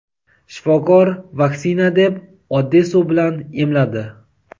Shifokor vaksina deb oddiy suv bilan "emladi".